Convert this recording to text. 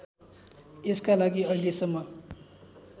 त्यसका लागि अहिलेसम्म